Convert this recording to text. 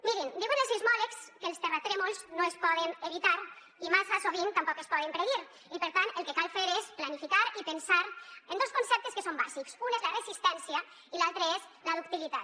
mirin diuen els sismòlegs que els terratrèmols no es poden evitar i massa sovint tampoc es poden predir i per tant el que cal fer és planificar i pensar en dos conceptes que són bàsics un és la resistència i l’altre és la ductilitat